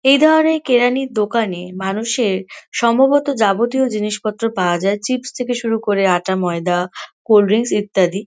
এই ধরণের কেরানির দোকানে মানুষের সম্ভবত যাবতীয় জিনিসপত্র পাওয়া যায়। চিপস থেকে শুরু করে আটা ময়দা কোল্ড ড্রিঙ্কস ইত্যাদি।